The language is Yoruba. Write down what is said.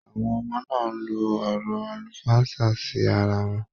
Àwọn ọmọ náà n ló ọ̀rọ̀ àlùfáànsa sí ará wọn.